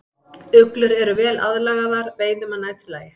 Uglur eru vel aðlagaðar veiðum að næturlagi.